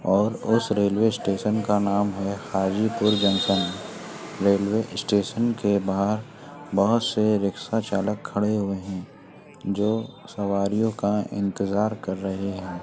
और उस railway station का नाम है हाजीपुर जंक्शन रेलवे स्टेशन के बाहर बहुत से रिक्शा चालक खड़े हुए हैं जो सवारियों का इंतजार कर रहे हैं।